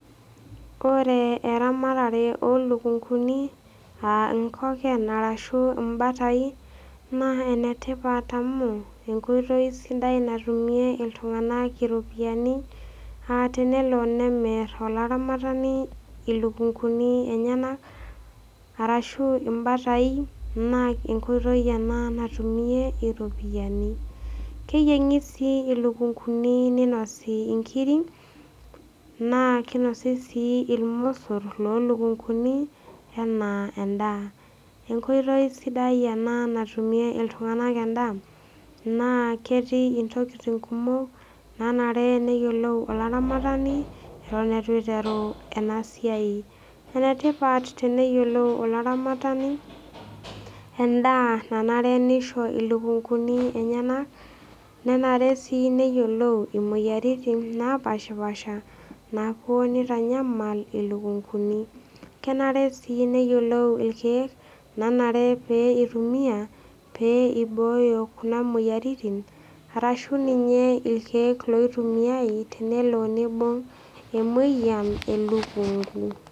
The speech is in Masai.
Ore eramatare oo ilukunguni aa inkoken, arashu imbatai, naa ene tipat amu enkoitoi sidai natumie iltung'ana iropiani aa tenelo nemir olaramatani ilukunguni enyena, arashu imbatai naa enkoitoi ena natumie iropiani. Keyieng'i sii ilukunguni neinosi inkiri naa keinosi sii ilmosor oo ilukunguni anaa endaa, enkoitoi sidai ena natumie iltung'ana endaa, naa ketii intokitin kumok naanare pee eyiolou olaramatani ewuen eitu eiteru ena siai. Ene tipat teneyiolou olaramatani endaa nanare neisho ilukunguni enyena, nenare sii neyioulou imoyaritin napaashipaasha napuo neitanyamal ilukunguni. Kenare sii neyioulou ilkeek onare pee eitumiya, pee eibooyo Kuna moyiaritin, arashu ninye ilkeek oitumiyai tenelo neibung' emoyian elukungu.